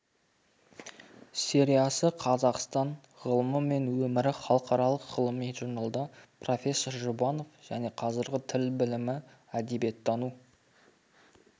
сериясы қазақстан ғылымы мен өмірі халықаралық ғылыми журналда профессор жұбанов және қазіргі тіл білімі әдебиеттану